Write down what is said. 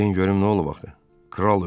Bildirin görüm nə olub axı?